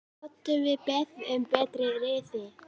Gátum við beðið um betri riðil?!